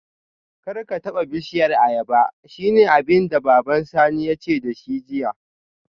Karka taba bishiyar ayaba shine abinda baban Sani yace dashi jiya